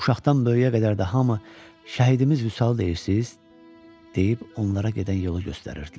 Uşaqdan böyüyə qədər də hamı şəhidimiz Vüsal deyirsiz deyib onlara gedən yolu göstərirdilər.